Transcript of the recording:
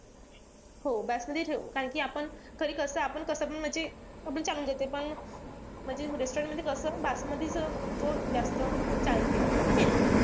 हो बासमती ठेऊ. कारण कि आपण घरी कसपण आपण म्हणजे पण म्हणजे restaurant मध्ये कस बासमतीच तो असं जास्त चालते. है का नाई?